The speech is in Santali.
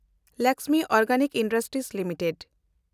Lakshmi Organic Industries limited